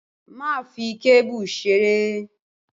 Má fi kébù ṣeré!